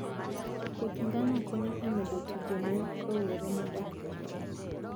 Puoth ngano konyo e medo tije ne rowere modak e gwenge